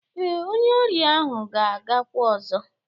Ee, onye ọrịa ahụ ga-agakwa ọzọ